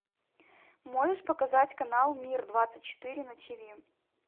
можешь показать канал мир двадцать четыре на тиви